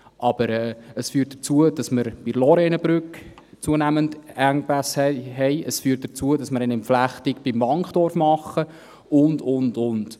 Aber es führt auch dazu, dass wir bei der Lorrainebrücke zunehmend Engpässe haben, es führt dazu, dass wir beim Wankdorf eine Entflechtung machen, und, und, und.